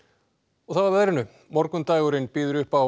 og þá að veðri morgundagurinn býður upp á